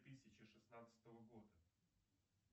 тысяча шестнадцатого года